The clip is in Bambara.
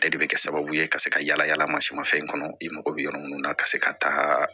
Ale de bɛ kɛ sababu ye ka se ka yala yala masimafɛn kɔnɔ i mako bɛ yɔrɔ minnu na ka se ka taa